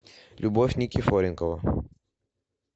любовь никифоренкова